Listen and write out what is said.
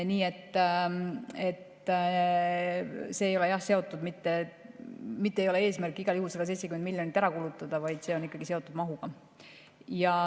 Nii et eesmärk ei ole igal juhul 170 miljonit ära kulutada, vaid see on ikkagi seotud mahuga.